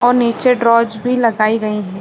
और नीचे ड्रॉज भी लगाई गयी है।